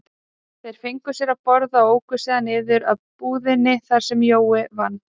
Þeir fengu sér að borða og óku síðan niður að búðinni þar sem Jói vann.